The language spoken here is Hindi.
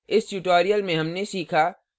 इस tutorial में हमने सीखा